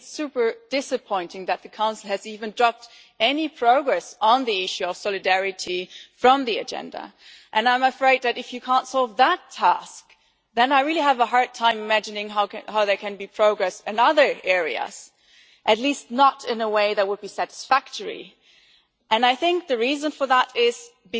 I think it is super disappointing that the Council has dropped any progress on the issue of solidarity from the agenda, and I am afraid that if you cannot even solve that task, then I really have a hard time imagining how there can be progress in other areas at least not in a way that will be satisfactory. I think the reason for that is that